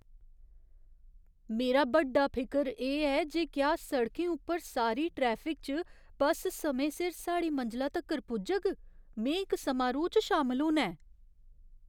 मेरा बड्डा फिकर एह् ऐ जे क्या सड़कें उप्पर सारी ट्रैफिक च बस समें सिर साढ़ी मंजला तक्कर पुजग। में इक समारोह् च शामल होना ऐ।